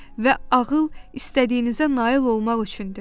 Və ağıl istədiyinizə nail olmaq üçündür.